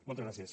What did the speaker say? moltes gràcies